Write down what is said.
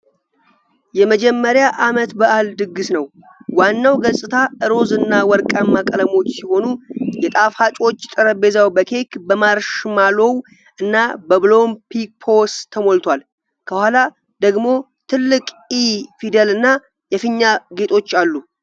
የመጀመሪያ ዓመት የልደት በዓል ድግስ ነው። ዋናው ገጽታ ሮዝ እና ወርቃማ ቀለሞች ሲሆኑ፣ የጣፋጮች ጠረጴዛው በኬክ ፣ በማርሽማሎው እና በሎሊፖፕስ ተሞልቷል። ከኋላ ደግሞ ትልቅ "ኢ" ፊደል እና የፊኛ ጌጦች አሉ።